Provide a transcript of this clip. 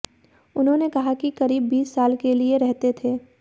उन्होंने कहा कि करीब बीस साल के लिए रहते थे